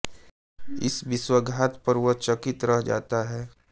इस विश्वासघात पर वह चकित रह जाता है